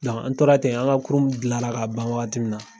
an tora ten an ka kurun gilanra k'a ban wagati mun na.